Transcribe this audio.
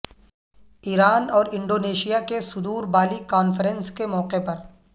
ایران اور انڈونیشیا کے صدور بالی کانفرنس کے موقع پر